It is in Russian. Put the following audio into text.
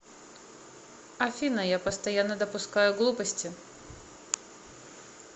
афина я постоянно допускаю глупости